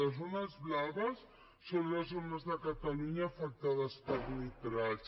les zones blaves són les zones de catalunya afectades per nitrats